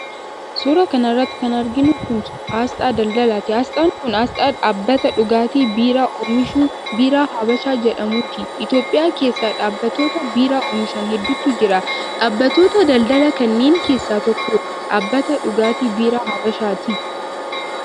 Suura kana irratti kan arginu kun, asxaa daldalaati. Asxaan kun ,asxaa dhabbata dhugaatii biiraa oomishu ,Biiraa Habashaa jedhamuuti. Itoophiyaa keessa dhaabbattoota biiraa oomishan hedduutu jira. Dhaabbattoota daldalaa kanneen keessaa tokko, dhaabbata dhugaatii Biiraa Habashaati.